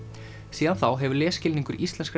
síðan þá hefur lesskilningur íslenskra